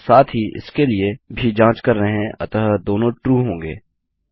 और साथ ही हम इसके लिए भी जाँच कर रहे हैं अतः दोनों ट्रू होंगे